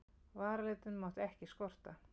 Varalitinn mátti ekki skorta.